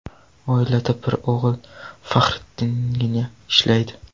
Oilada bir o‘g‘il Faxriddingina ishlaydi.